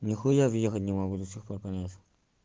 нихуя въехать не могу до сих пор конечно